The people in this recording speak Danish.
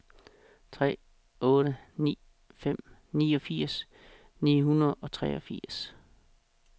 tre otte ni fem niogfirs ni hundrede og treogfirs